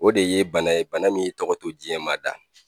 O de ye bana ye bana min ye tɔgɔ to diɲɛmaa da.